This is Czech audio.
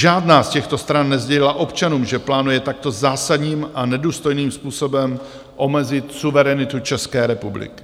Žádná z těchto stran nesdělila občanům, že plánuje takto zásadním a nedůstojným způsobem omezit suverenitu České republiky.